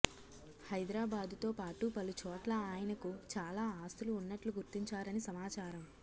హైదరాబాదుతో పాటు పలుచోట్ల ఆయనకు చాలా ఆస్తులు ఉన్నట్లు గుర్తించారని సమాచారం